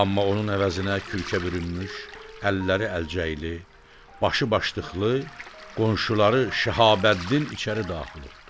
Amma onun əvəzinə kürkə bürünmüş, əlləri əlcəyli, başı başdıqlı, qonşuları Şəhabəddin içəri daxil oldu.